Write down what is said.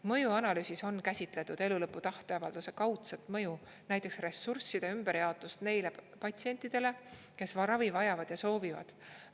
Mõjuanalüüsis on käsitletud elulõpu tahteavalduse kaudset mõju, näiteks ressursside ümberjaotust neile patsientidele, kes ravi vajavad ja soovivad.